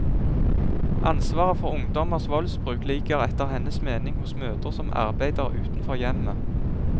Ansvaret for ungdommers voldsbruk ligger etter hennes mening hos mødre som arbeider utenfor hjemmet.